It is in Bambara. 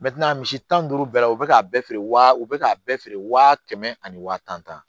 misi tan ni duuru bɛɛ la u bɛ k'a bɛɛ feere wa u bɛ k'a bɛɛ feere waa kɛmɛ ani waa tan